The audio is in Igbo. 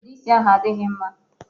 Ude isi ahụ adịghị mma.